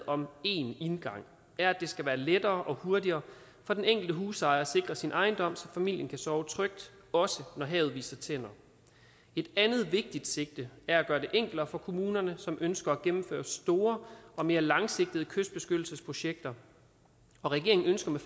om én indgang er at det skal være lettere og hurtigere for den enkelte husejer at sikre sin ejendom så familien kan sove trygt også når havet viser tænder et andet vigtigt sigte er at gøre det enklere for kommunerne som ønsker at gennemføre store og mere langsigtede kystbeskyttelsesprojekter regeringen ønsker med